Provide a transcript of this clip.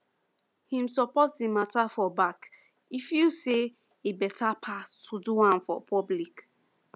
him support the matter for back e feel say e better pass to do am for public